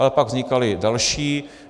Ale pak vznikala další.